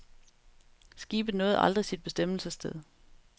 Skibet nåede aldrig sit bestemmelsessted.